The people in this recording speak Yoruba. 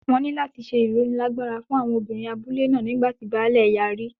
Wọn ní láti ṣe ìrónilágbára fún àwọn obìnrin abúlé náà nígbà tí baálẹ̀ yarí.